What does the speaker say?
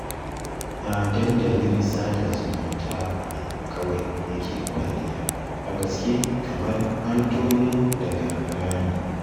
A dandalin sada zumunta ne kawai yake kwalliya, a gaske kamar an tono daga rami